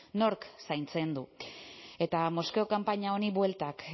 nork zaintzen du eta moskeo kanpaina honi bueltak